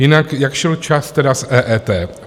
Jinak jak šel čas tedy s EET?